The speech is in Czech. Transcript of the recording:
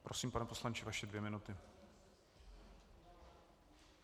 Prosím, pane poslanče, vaše dvě minuty.